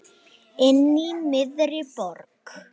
Inní miðri borg.